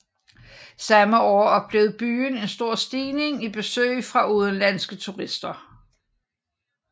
Samme år oplevede byen en stor stigning i besøg fra udenlandske turister